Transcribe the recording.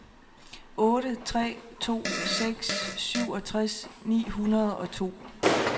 otte tre to seks syvogtres ni hundrede og to